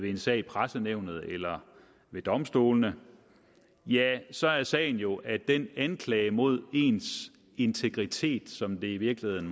en sag i pressenævnet eller ved domstolene så er sagen jo at den anklage mod ens integritet som der i virkeligheden